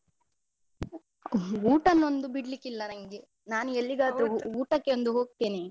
ಊಟನೊಂದು ಬಿಡ್ಲಿಕ್ಕಿಲ್ಲ ನಂಗೆ ನಾನು ಊಟಕ್ಕೆ ಒಂದು ಹೋಗ್ತೀನಿ.